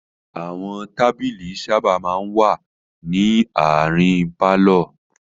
Àwọn tábìlì sábà máa ń wà ní àárín pálọ̀.